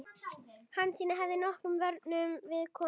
Hansína hefði nokkrum vörnum við komið.